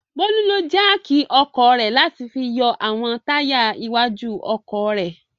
Bólú ló jáákì ọkọ̀ rẹ̀ láti fi yọ àwọn táyà iwájú ọkọ̀ rẹ̀.